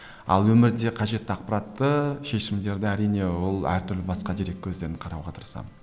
ал өмірде қажетті ақпаратты шешімдерді әрине ол әртүрлі басқа дерек көздерін қарауға тырысамын